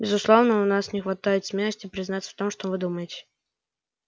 безусловно у нас не хватает смелости признаться в том что вы думаете